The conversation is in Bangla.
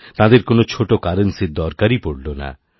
তাঁদের কোনও ছোটো কারেন্সির দরকারইপড়ল না